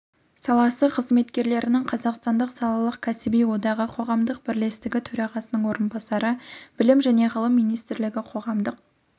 саласы қызметкерлерінің қазақстандық салалық кәсіби одағы қоғамдық бірлестігі төрағасының орынбасары білім және ғылым министрлігі қоғамдық